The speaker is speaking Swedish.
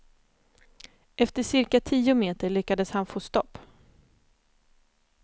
Efter cirka tio meter lyckades han få stopp.